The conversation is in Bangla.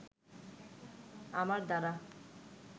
আমার দ্বারা